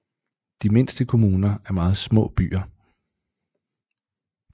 De mindste kommuner er meget små byer